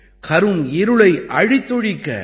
கரும் இருளை அழித்தொழிக்க